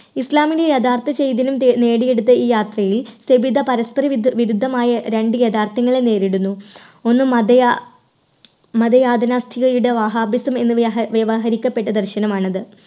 ഇസ്ലാമിൻറെ യഥാർത്ഥ ചൈതന്യം തേ നേടിയെടുത്ത ഈ യാത്രയിൽ സബിത പരസ്പര വിരു~വിരുദ്ധമായ രണ്ട് യാഥാർത്ഥ്യങ്ങളെ നേരിടുന്നു ഒന്ന് മതയാ മതയാതനാസ്ഥികരുടെ വഹാബിസം എന്ന് വ്യവ~വ്യവഹരിക്കപ്പെട്ട ദർശനമാണത്.